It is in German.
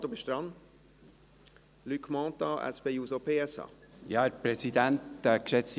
Aber Sie, Luc Mentha, sind jetzt an der Reihe.